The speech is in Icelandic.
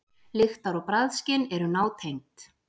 Lyktar- og bragðskyn eru nátengd.